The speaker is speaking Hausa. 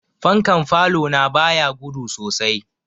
Fankan falo na ba ya gudu sosai.